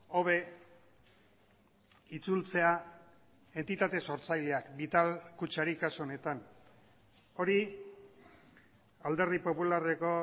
hobe itzultzea entitate sortzaileak vital kutxari kasu honetan hori alderdi popularreko